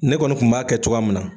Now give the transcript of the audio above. Ne kɔni kun b'a kɛ cogoya min na